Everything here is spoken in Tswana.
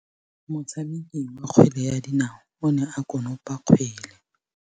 Motshameki wa kgwele ya dinaô o ne a konopa kgwele.